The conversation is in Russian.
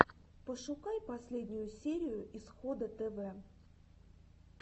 пошукай последнюю серию исхода тв